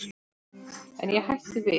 En ég hætti við.